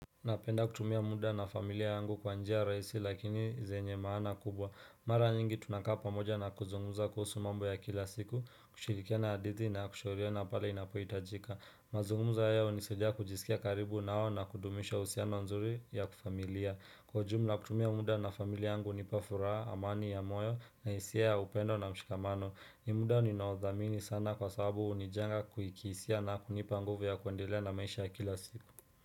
Napenda kutumia muda na familia yangu kwa njia rahisi lakini zenye maana kubwa Mara nyingi tunakaa pamoja na kuzunguza kuhusu mambo ya kila siku kushirikiana hadithi na kushauriana pale inapoitajika Mazungumuzo haya unisidia kujisikia karibu nao na kudumisha uhusiano nzuri ya kifamilia Kwa ujumla kutumia muda na familia yangu unipafuraha amani ya moyo na hisia upendo na mshikamano ni muda ninaothamini sana kwa sababu unijenga kihisia na kunipa nguvu ya kuendelea na maisha ya kila siku.